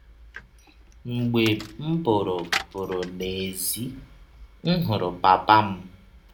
Mgbe m pụrụ pụrụ n’èzí, m hụrụ papa m.